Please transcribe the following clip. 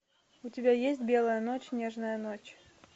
у тебя есть белая ночь нежная ночь